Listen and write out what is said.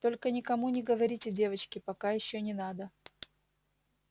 только никому не говорите девочки пока ещё не надо